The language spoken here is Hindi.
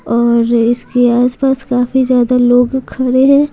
और इसके आसपास काफी ज्यादा लोग खड़े हैं।